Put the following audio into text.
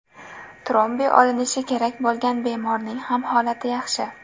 Trombi olinishi kerak bo‘lgan bemorning ham holati yaxshi.